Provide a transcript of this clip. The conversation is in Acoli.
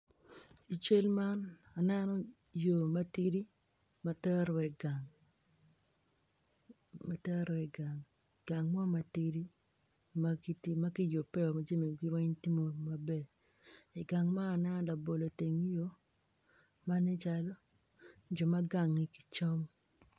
I cel man aneno yo matidi matero wa igang matero wa i gang, gang mo matidi, makiti makiyubeo, majamigi weng tye m odo, i gang man aneno labolo i teng yo, ma nen calo jo ma gange gicamo.